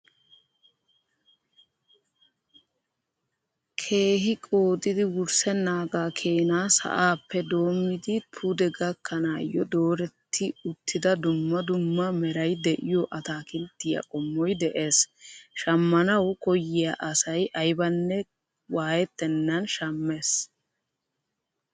Keehi qoodidi wurssenaagaa keenaa sa'aappe doommidi puude gakkanayo dooretti uttida dumma dumma meray de'iyo ataakilttiyaa qommoy de'ees. Shaammanawu koyiyaa asay aybanne waayettenan shammees.